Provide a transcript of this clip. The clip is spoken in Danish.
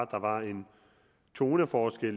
der var en toneforskel